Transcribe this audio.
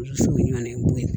So ɲɔgɔn ye'